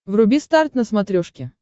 вруби старт на смотрешке